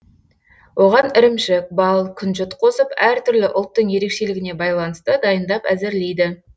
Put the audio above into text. оған ірімшік бал күнжіт қосып әртүрлі ұлттың ерекшелігіне байланысты дайындап әзірлейді